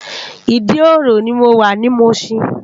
Idi-oro ni mó wá ni Mushin